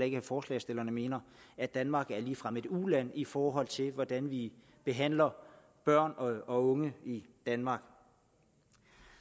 ikke forslagsstillerne mener at danmark ligefrem er et uland i forhold til hvordan vi behandler børn og unge i danmark